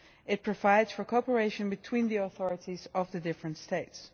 It provides for cooperation between the authorities of the different States.